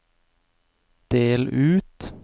del ut